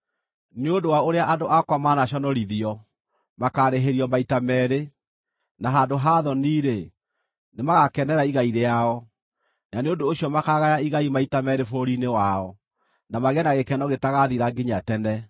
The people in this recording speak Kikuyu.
Nĩ ũndũ wa ũrĩa andũ akwa manaconorithio, makaarĩhĩrio maita meerĩ, na handũ ha thoni-rĩ, nĩmagakenera igai rĩao; na nĩ ũndũ ũcio makaagaya igai maita meerĩ bũrũri-inĩ wao, na magĩe na gĩkeno gĩtagathira nginya tene.